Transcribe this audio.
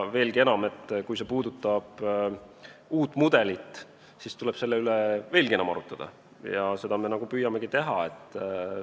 Kui see puudutab uut mudelit, siis tuleb selle üle veelgi enam arutada ja seda me nagu püüamegi teha.